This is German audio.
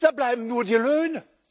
Da bleiben nur die